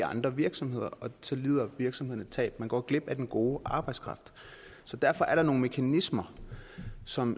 andre virksomheder og så lider virksomheden et tab og går glip af den gode arbejdskraft derfor er der nogle mekanismer som